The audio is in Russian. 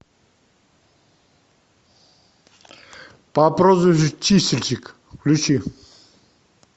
по прозвищу чистильщик включи